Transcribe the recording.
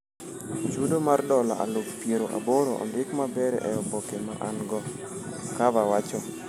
"chudo mar dola aluf piero aboro ondik maber e oboke ma ango," Carver wacho.